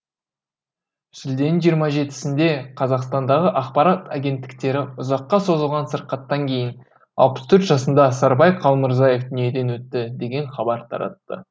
шілденің жиырма жетісінде қазақстандағы ақпарат агенттіктері ұзаққа созылған сырқаттан кейін алпыс төрт жасында сарыбай қалмырзаев дүниеден өтті деген хабар таратты